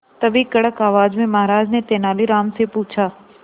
तभी कड़क आवाज में महाराज ने तेनालीराम से पूछा